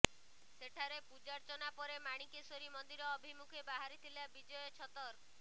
ସେଠାରେ ପୂଜାର୍ଚ୍ଚନା ପରେ ମାଣିକେଶ୍ୱରୀ ମନ୍ଦିର ଅଭିମୁଖେ ବାହାରିଥିଲା ବିଜୟ ଛତର୍